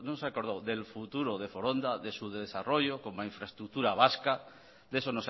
se han acordado del futuro de foronda de su desarrollo como infraestructura vasca de eso